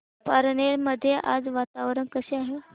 पारनेर मध्ये आज वातावरण कसे आहे